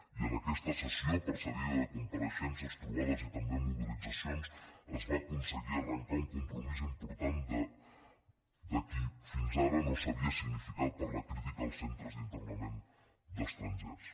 i en aquesta sessió precedida de compareixences trobades i també mobilitzacions es va aconseguir arrencar un compromís important de qui fins ara no s’havia significat per la crítica als centres d’internament d’estrangers